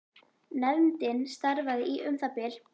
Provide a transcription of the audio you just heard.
Nefndin starfaði í um það bil